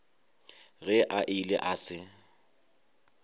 ge a ile a se